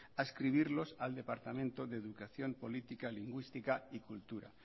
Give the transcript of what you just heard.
adscribirlos al departamento de educación política lingüística y cultura